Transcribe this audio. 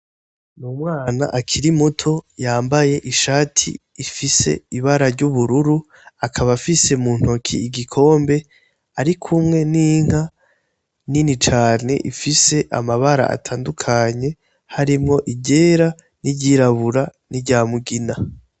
Umwana akiri muto yambaye ishati ifise ibara ry'ubururu akaba afise igikombe muntoke arikumwe n'inka nini cane ifise amabara atandukanye harimwo iryera n'iryirabura nirya mugina.